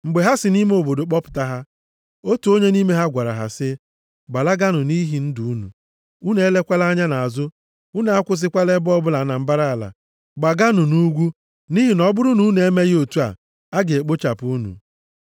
Mgbe ha si nʼime obodo kpọpụta ha, otu onye nʼime ha gwara ha sị, “Gbalaganụ nʼihi ndụ unu. Unu elekwala anya nʼazụ. Unu akwụsịkwala ebe ọbụla na mbara ala. Gbaganụ nʼugwu, nʼihi na ọ bụrụ na unu emeghị otu a, a ga-ekpochapụ unu.”